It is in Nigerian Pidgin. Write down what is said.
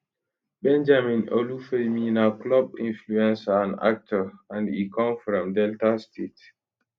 benjamin olufemi na club influencer and actor and e come from delta state